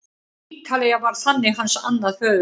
Ítalía varð þannig hans annað föðurland.